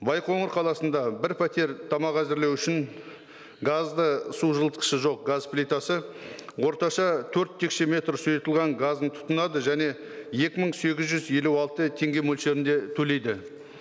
байқоңыр қаласында бір пәтер тамақ әзірлеу үшін газды су жылытқышы жоқ газ плитасы орташа төрт текшеметр сұйытылған газын тұтынады және екі мың сегіз жүз елу алты теңге мөлшерінде төлейді